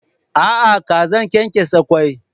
A'a, kazan kenkesa kwai.